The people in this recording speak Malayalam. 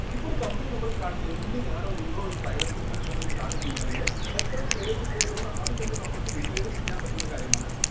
ഇപ്പൊ ഒരു company നമ്മള് start ചെയ്‌ത്‌ ഇന്ന് ഞാനോ നിങ്ങളോ ഒരു private limited company start ചെയ്യുകയാണെങ്കിൽ എത്ര shares ഇണ്ട് എന്നുള്ളത് ആദ്യം തന്നെ നമുക്ക് decide ചെയ്യാൻ പറ്റുന്ന കാര്യമാണ്